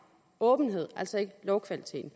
åbenhed altså ikke lovkvaliteten